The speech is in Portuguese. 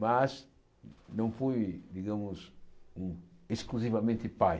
Mas não fui, digamos, hum exclusivamente pai.